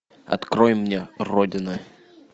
открой мне родина